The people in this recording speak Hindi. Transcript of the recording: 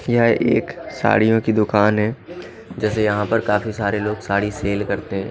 यह एक साड़ियों की दुकान है जैसे यहां पर काफी सारे लोग साड़ी सेल करते हैं।